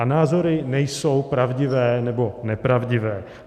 A názory nejsou pravdivé nebo nepravdivé.